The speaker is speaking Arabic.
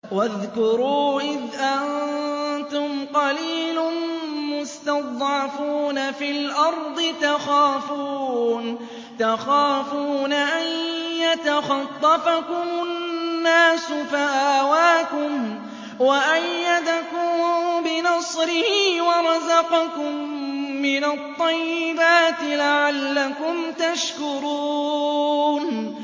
وَاذْكُرُوا إِذْ أَنتُمْ قَلِيلٌ مُّسْتَضْعَفُونَ فِي الْأَرْضِ تَخَافُونَ أَن يَتَخَطَّفَكُمُ النَّاسُ فَآوَاكُمْ وَأَيَّدَكُم بِنَصْرِهِ وَرَزَقَكُم مِّنَ الطَّيِّبَاتِ لَعَلَّكُمْ تَشْكُرُونَ